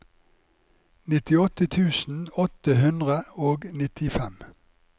nittiåtte tusen åtte hundre og nittifem